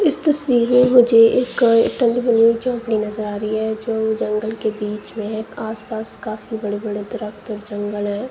इस तस्वीर मुझे एक नजर आ रही है जो जंगल के बीच में है आसपास काफी बड़े बड़े दरख़्त जंगल हैं।